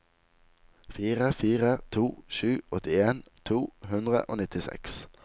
fire fire to sju åttien to hundre og nittiseks